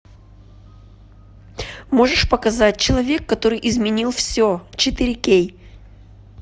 можешь показать человек который изменил все четыре кей